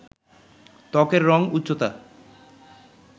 ত্বকের রং, উচ্চতা